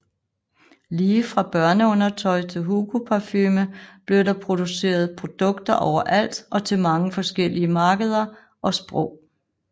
Lige fra børneundertøj til Hugo parfume blev der produceret produkter overalt og til mange forskellige markeder og sprog